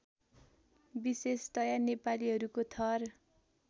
विशेषतया नेपालीहरूको थर